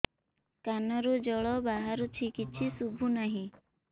କାନରୁ ଜଳ ବାହାରୁଛି କିଛି ଶୁଭୁ ନାହିଁ